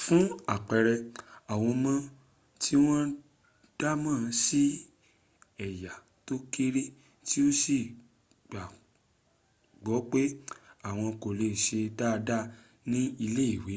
fun apẹẹrẹ awọn ọmọ ti wọn damọ si ẹya to kere ti o si gbagbọ pe awọn kole se dada ni ile iwe,